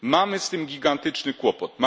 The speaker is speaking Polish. Mamy z tym gigantyczny kłopot.